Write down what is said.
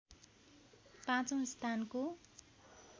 पाँचौं स्थानको